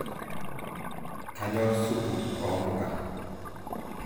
kanyorr supu oo mpuka